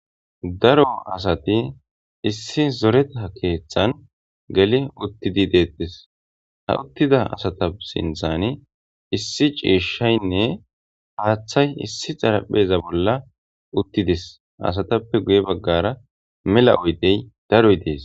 Daro asati issi zoreta keeththan geli uttidi deettis ha uttida asata sinthani issi ciishshaynne haaththay issi xarapheza bolla uttidis asatappe guye baggara mela oydey daroy dees.